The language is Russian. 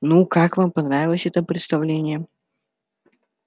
ну как вам понравилось это представление